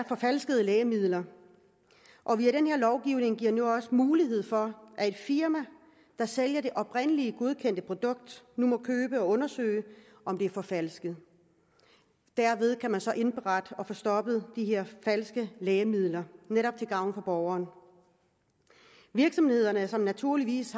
forfalskede lægemidler og via den her lovgivning bliver der nu også mulighed for at det firma der sælger det oprindeligt godkendte produkt nu må købe dem og undersøge om de er forfalskede derved kan man så indberette og få stoppet de her falske lægemidler netop til gavn for borgeren virksomhederne har naturligvis